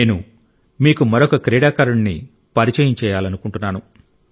నేను మీకు మరొక క్రీడాకారుడిని పరిచయం చేయాలనుకుంటున్నాను